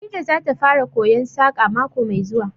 Farida zata fara koyon Saƙa mako mai zuwa